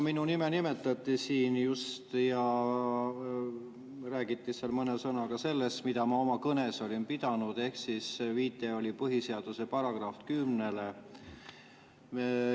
Minu nime nimetati siin just ja räägiti mõne sõnaga sellest, mida ma oma kõnes olin, ehk viide oli põhiseaduse §‑le 10.